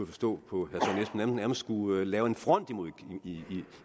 forstå på herre nærmest skulle lave en front